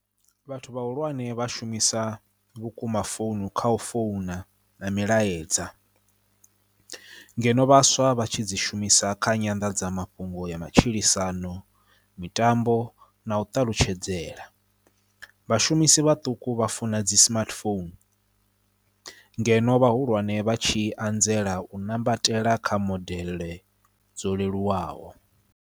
Vhathu vhahulwane vha shumisa vhukuma founu kha u founa na milaedza ngeno vhaswa vha tshi dzi shumisa kha nyanḓadzamafhungo ya matshilisano, mitambo na u ṱalutshedzela. Vhashumisi vhaṱuku vha funa dzi smartphone ngeno vhahulwane vha tshi anzela u nambatela kha modele dzo leluwaho.